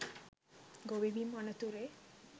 ගොවි බිම් අනතුරේ